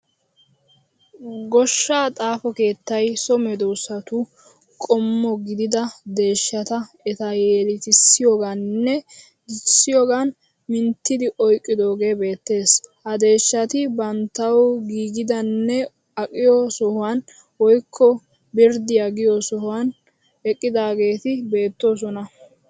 Goshshaa xaafo keettay so medoosatu qommo gidida deeshshata eta yeletissiyogaaninn dichchiyogaan minttidi oyqqidoogee beettees. Ha deeshshati banttawu giigidanne aqiyo sohuwan woykko birddiya giyo sohuwan eqqidaageeti beettoosona.